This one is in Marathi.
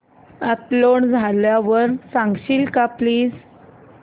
अपलोड झाल्यावर सांगशील का प्लीज